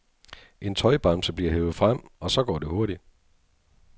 En tøjbamse bliver hevet frem, og så går det hurtigt.